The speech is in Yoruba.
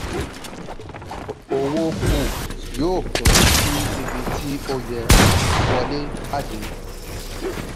owó kù yóò kún sí ibi tí ó yẹ – wọlé/jáde.